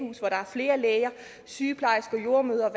flere læger sygeplejersker jordemødre og